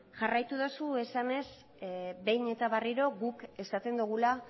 jarraitu dozu esanez behin eta berriro guk esaten dugula